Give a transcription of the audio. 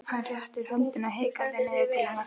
Hann réttir höndina hikandi niður til hennar.